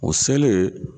O selen